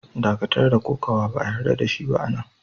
Dakatar da Kokawa! Ba'a yarda da shi a'nan!